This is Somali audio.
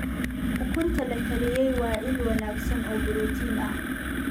Ukunta la kariyey waa il wanaagsan oo borotiin ah.